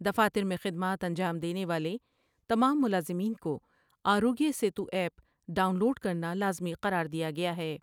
دفاتر میں خدمات انجام دینے والے تمام ملازمین کو Aarogya Setu app download کر نالا زمی قرار دیا گیا ہے ۔